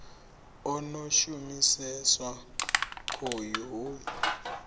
a no shumiseswa khoyu hu